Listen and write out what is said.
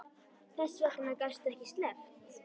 Þess vegna gastu ekki sleppt.